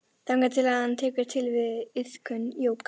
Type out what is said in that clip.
Þangað til að hann tekur til við iðkun jóga.